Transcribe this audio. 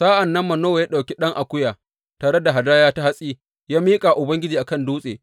Sa’an nan Manowa ya ɗauki ɗan akuya, tare da hadaya ta hatsi ya miƙa wa Ubangiji a kan dutse.